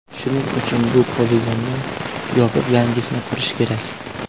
Shuning uchun bu poligonni yopib, yangisini qurish kerak.